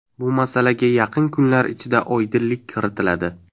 Bu masalaga yaqin kunlar ichida oydinlik kiritiladi.